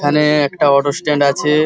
এখানে একটা auto stand আছে ।